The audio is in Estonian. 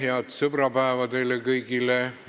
Head sõbrapäeva teile kõigile!